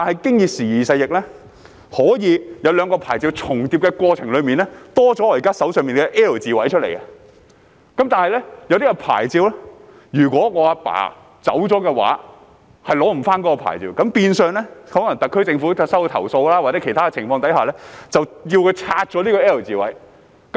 不過，時而勢易，在兩個牌照重疊的過程中，可以增多了我現時手上展示的 "L 字位"，但有些牌照則是，若家父離世，便無法取回，那麼特區政府在收到投訴或其他情況之下，便會要求居民拆除 "L 字位"。